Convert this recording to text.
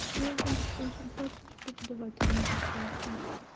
что значит консультацию с преподавателем по скайпу